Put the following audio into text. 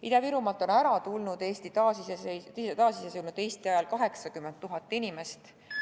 Ida-Virumaalt on lahkunud taasiseseisvunud Eesti ajal 80 000 inimest.